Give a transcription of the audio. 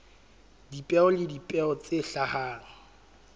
dipeo le dipeo tse hlahang